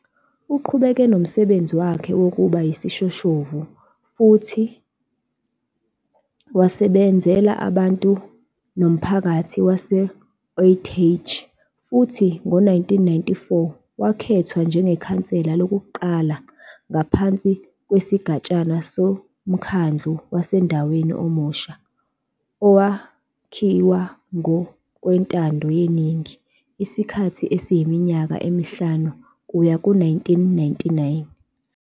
Uqhubeke nomsebenzi wakhe wokuba yisishoshovu futhi wasebenzela abantu nomphakathi wase-Uitenhage futhi ngo-1994 wakhethwa njengekhansela lokuqala ngaphansi kwesigatshana somkhandlu wasendaweni omusha owakhiwa ngokwentando yeningi isikhathi esiyiminyaka emihlanu kuya ku-1999.